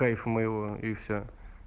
кайф моего и все